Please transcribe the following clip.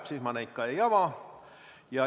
Sellisel juhul ma neid ei ava.